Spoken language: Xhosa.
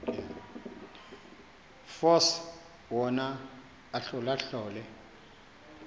force wona ahlolahlole